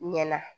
Ɲɛna